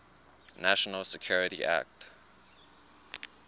national security act